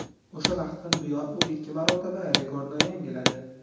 O‘sha vaqtdan buyon u ikki marotaba rekordni yangiladi.